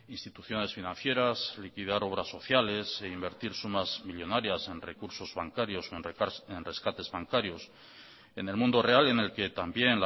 instituciones financieras liquidar obras sociales e invertir sumas millónarias en recursos bancarios en rescates bancarios en el mundo real en el que también